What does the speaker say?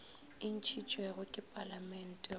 e ntšhitšwego ke palamente go